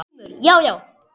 GRÍMUR: Já, já!